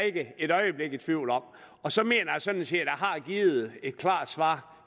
ikke et øjeblik i tvivl om og så mener jeg sådan set at har givet et klart svar